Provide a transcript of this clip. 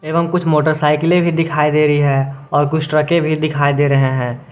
एवं कुछ मोटरसाइकिलें भी दिखाई दे रही है और कुछ ट्रकें भी दिखाई दे रहे हैं।